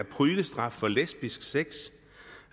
pryglestraf for lesbisk sex